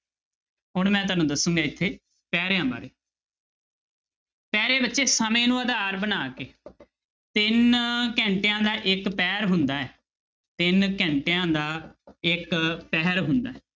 ਹੁਣ ਮੈਂ ਤੁਹਾਨੂੰ ਦੱਸਾਂਗਾ ਇੱਥੇ ਪੈਰਿਆਂ ਬਾਰੇ ਪਹਿਰੇ ਬੱਚੇ ਸਮੇਂ ਨੂੰ ਆਧਾਰ ਬਣਾ ਕੇ ਤਿੰਨ ਘੰਟਿਆਂ ਦਾ ਇੱਕ ਪਹਿਰ ਹੁੰਦਾ ਹੈ ਤਿੰਨ ਘੰਟਿਆਂ ਦਾ ਇੱਕ ਪਹਿਰ ਹੁੰਦਾ ਹੈ।